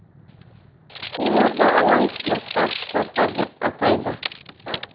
оларды ауаны ластағыш заттар деп атайды